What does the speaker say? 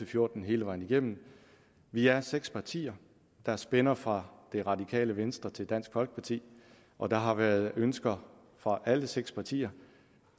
fjorten hele vejen igennem vi er seks partier der spænder fra det radikale venstre til dansk folkeparti og der har været ønsker fra alle seks partier